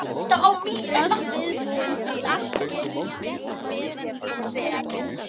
Öllu viðbúin því allt getur gerst meðan ég sef.